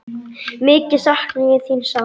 Mikið sakna ég þín sárt.